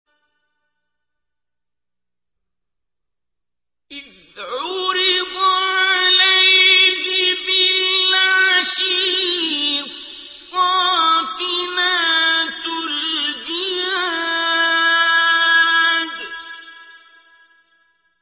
إِذْ عُرِضَ عَلَيْهِ بِالْعَشِيِّ الصَّافِنَاتُ الْجِيَادُ